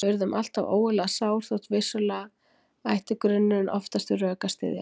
Við urðum alltaf ógurlega sár þótt vissulega ætti grunurinn oftast við rök að styðjast.